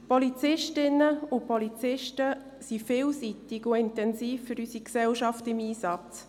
Polizistinnen und Polizisten sind vielseitig und intensiv für unsere Gesellschaft im Einsatz.